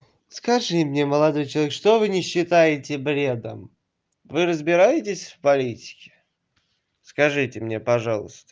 скажи мне молодой человек что вы не считаете бредом вы разбираетесь в политике скажите мне пожалуйста